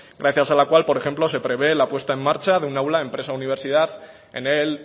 gracias a la cual por ejemplo se prevé la puesta en marcha de una aula empresa universidad en el